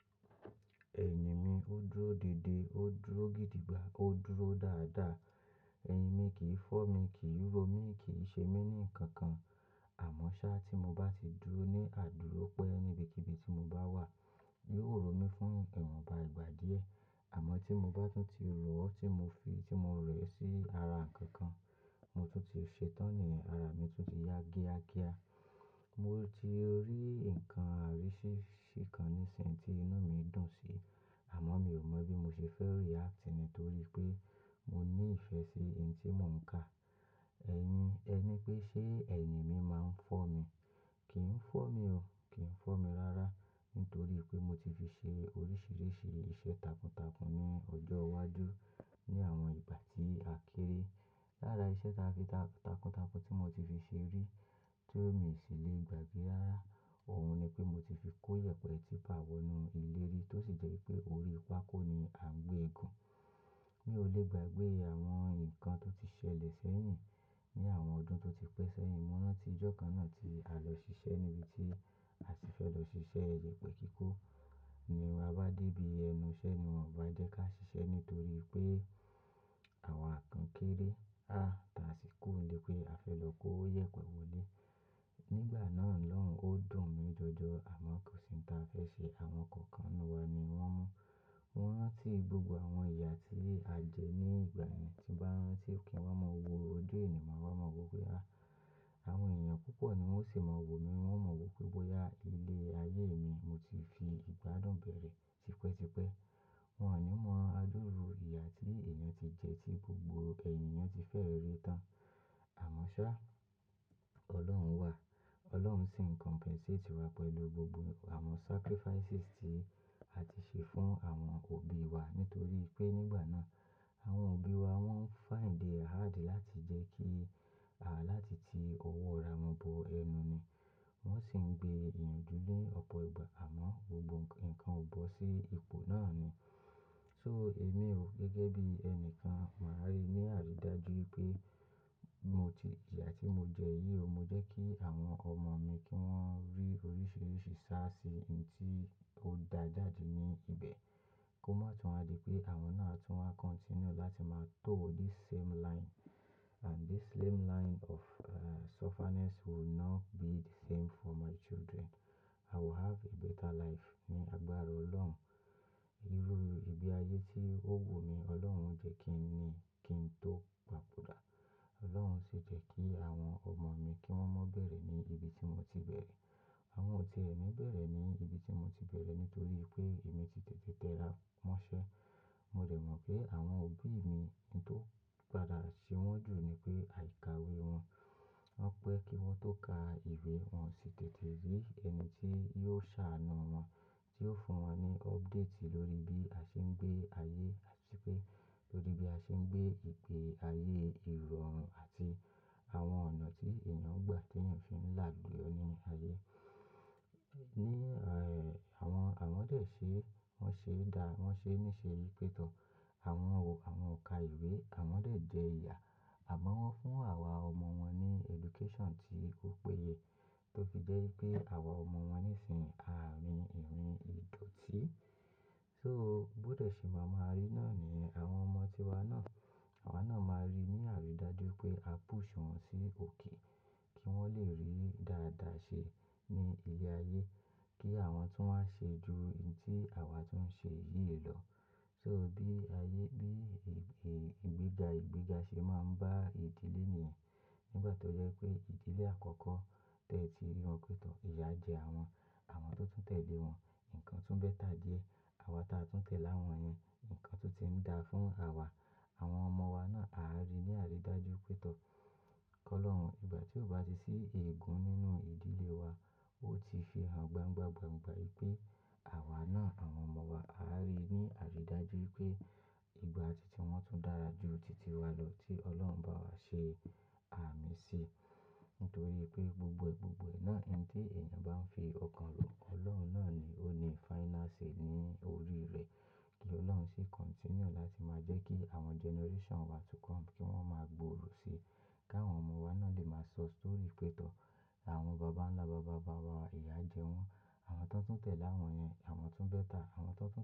Ẹyimi ó dúró dédé, ó dúró gidi gbà, ó dúró dáadáa. Ẹyimi kì í fọ́ mi, kì í ró mi, kì í ṣe mí ní nǹkan kan. Àma ṣá tí mo bá ti dúró ní àdúró pẹ́ níbi kibi tí mo bá wà, yóò rò mí fún ìrànba ìgbà díẹ̀. Àmọ́ tí mo bá tún ti rù ọ́ tí mo fi tí mo rẹ̀ sí ara ǹkan kan, mo tún ti ṣe tán ni ara mi tún ti ya géágéá. Mo ti rí ǹkan àríṣiríṣi kan nísin tí inú mi dùn sí, àmọ́ mi ò mọ bí mo ṣe fẹ́ re-act torí pé mo ní ìfẹ́ sí oun tí mò ń ka. Ẹni, ẹ ní pé ṣé ẹni mi máa ń fọ́ mi? Kì í fọ́ mi o, kì í fọ́ mi rárá nítorí pé mo ti fi ṣe oríṣiríṣi iṣẹ́ takuntakun ní ọjọ́ iwájú ní àwọn ìgbà tí a kéré. Lára iṣẹ́ takuntakun tí mo ti fi ṣe rí tí ó mi sì lè gbàgbé rárá, òun ni pé mo ti fi kó yèpẹ̀ tíipa wo ni leri tó sì jẹ́ pé orí pákó ni à ń gbé eégún. Mi ò lè gbàgbé àwọn ǹkan tó ti ṣẹlẹ̀ sẹ́yìn ní àwọn ọdún tó ti pẹ́ sẹ́yìn. Mo rántí ọjọ́ kan náà tí a lọ ṣiṣẹ́ níbi tí a sì fẹ́ lọ ṣiṣẹ́ iyẹpẹ̀ kíkó. Ní bá dé bí, ẹnu iṣẹ́ ni wọ́n bá jẹ́ ká ṣiṣẹ́ nítorí pé àwa kan kéré. À tá sì kú lé pé a fẹ́ lọ kó yèpẹ̀ wọlé. Nígbà náà lọ́run ó dùn mi jọjọ àma kò sí oun táa fẹ́ ṣe. Àwọn kankan nínú wa ni wọ́n mú. Wọ́n rán tí gbogbo àwọn ìyà tí a jẹ ní ìgbà yẹn, tí wọ́n rán tí ò kí ń wá mọ́ wo ojú ènìyàn máa wá mọ́ wo pé a, àwọn èèyàn púpọ̀ ni wọ́n ó sì máa wò mí, wọ́n ó mọ̀ pé bóyá ilé ayé mi mo ti fi ìgbádùn bẹ̀rẹ̀ tipẹ́ tipẹ́. Wọn ò ní mọ àdúru ìyà tí èèyàn ti jẹ, tí gbogbo èèyàn ti fẹ́ rí tán. Àmọ́ ṣá, Ọlọ́run wà. Ọlọ́run sì ń compensate wa pẹ̀lú gbogbo àwọn sacrifices tí a ti ṣe fún àwọn òbí wa nítorí pé nígbà náà àwọn òbí wa wọ́n find hard láti jẹ́ kí a láti ti ọwọ́ ra wọn bo ẹnu ni. Wọ́n sì ń gbé iyànjú lé ọ̀pọ̀ ìgbà àmọ́ gbogbo ǹkan ò bọ́ sí ipò náà ni. So èmi o gẹ́gẹ́ bí ẹni kan, màá rí ní àrídájú pé mo ti, ìyà tí mo jẹ yìí o, mo jẹ́ kí àwọn ọmọ mi kí wọ́n rí oríṣiríṣi sáásí oun tí ó da jáde ní ibẹ̀. Kó má tún wá di pé àwọn náà tún wá continue láti máa tó this same line and this same line of, sufferness will not be the same for my children. I will have a better life ní àgbára Ọlọ́run. Irú ìgbé ayé tí ó wò mi Ọlọ́run jẹ́ kí n ní kí n tó gbàbọ́dà. Ọlọ́run sì jẹ́ kí àwọn ọmọ mi kí wọ́n má bẹ̀rẹ̀ ní ibi tí mo ti bẹ̀rẹ̀. Àwọn ò ti ẹni bẹ̀rẹ̀ ní ibi tí mo ti bẹ̀rẹ̀ nítorí pé èmi ti tètè tẹ́ra mọ́ṣẹ́. Mo rẹ̀ mọ̀ pé àwọn òbí mi oun tó padà ṣe wọ́n jù ni pé àìkáwé wọn. Wọ́n pẹ́ kí wọ́n tó ka ìwé wọn sí tètè rí ẹni tí yóò ṣàánú wọn, tí ó fún wọn ní update lórí bí a ṣe ń gbé ayé àti pé lórí bí a ṣe ń gbé ìpè ayé ìrọ̀rùn àti àwọn ọ̀nà tí èèyàn gbà tí èèyàn fi ń làluyo ní ayé. Ni, eh, àwọn, àwọn dé ṣe, wọ́n ṣe dá, wọ́n ṣe ní ṣe pétọ̀. Àwọn wò, àwọn ka ìwé, àwọn dé jẹ ìyà. Àma wọ́n fún àwa ọmọ wọn ní education tí ó péye tó fi jẹ́ pé àwa ọmọ wọn nísìnyí à ń rìn ìrìn ìdọ̀tí. So bó dé ṣe màá máa rí náà ni àwọn ọmọ tíwa náà, àwa náà máa rí ní àrídájú pé a push wọn sí òkè kí wọ́n lè rí dáadáa ṣe ní ilé ayé, kí àwọn tún wá ṣe ju oun tí àwa tún ń ṣe yìí lọ. So, bí ayé, bí ìgbéga ìgbéga ṣe máa ń bá ìdílé ènìyàn. Nígbà tó jẹ́ pé ìdílé àkọ́kọ́ tẹ́ẹ́ ti rí wọn pétọ̀, ìyà jẹ àwọn, àwọn tó tún tẹ̀lé wọn, ǹkan tún bẹ́tà díẹ̀. Àwa táa tún tẹ̀lé àwọn yẹn, ǹkan tún ti ń da fún àwa. Àwọn ọmọ wa náà, àá rí ní àrídájú pétọ̀. Kọ́ Ọlọ́run, ìgbà tí ó bá ti sí eégún nínú ìdílé wa, ó ti ṣe hàn gbangba gbangba wípé àwa náà, àwọn ọmọ wa, àá rí ní àrídájú wípé ìgbà ti tí wọ́n tún dára ju tìtì wa lọ tí Ọlọ́run bá wa ṣe àmì sí. Nítorí pé gbogbogbò náà eni tí èèyàn bá ń fi ọkàn lò, Ọlọ́run náà ni ó ní final say ní orí rẹ̀. Kí Ọlọ́run sì continue láti máa jẹ́ kí àwọn generation wa to come kí wọ́n máa gbòòrò sí i. Kí àwọn ọmọ wa náà lè máa sọ story pétọ̀. Àwọn bàbá ńlá bàbá bàbá wa, ìyà jẹ wọ́n, àwọn tó tún tẹ̀lé àwọn yẹn, àwọn tún bẹ́tà, àwọn tó tún.